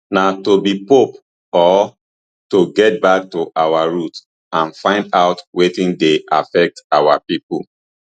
na to be pope or to get back to our roots and find out wetin dey affect our pipo